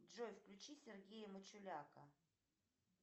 джой включи сергея мачуляка